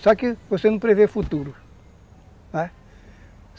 Só que você não prevê futuro, não é?